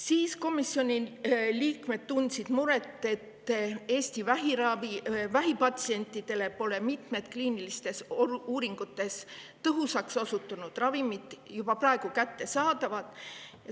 Siis tundsid komisjoni liikmed muret selle pärast, et Eesti vähipatsientidele pole mitmed kliinilistes uuringutes tõhusaks osutunud ravimid juba praegu kättesaadavad.